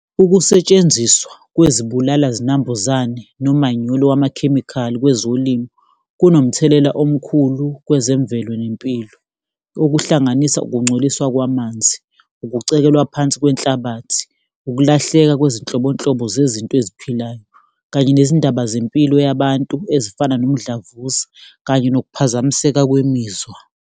Ukusetshenziswa kwezibulala zinambuzane nomanyolo wamakhemikhali kwezolimo, kunomthelela omkhulu kwezemvelo nempilo. Okuhlanganisa ukungcoliswa kwamanzi, ukucekelwa phansi kwenhlabathi, ukulahleka kwezinhlobonhlobo zezinto eziphilayo, kanye nezindaba zempilo yabantu ezifana nomdlavuza kanye nokuphazamiseka kwemizwa.